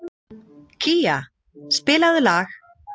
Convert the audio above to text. Kía, spilaðu lag.